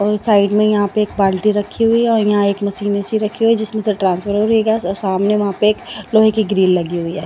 और साइड में यहां पे एक बाल्टी रखी हुई है और यहां एक मशीन सी रखी हुई है जिसमें से ट्रांसफर हो रही है गैस और सामने वहां पे एक लोहे की ग्रिल लगी हुई है।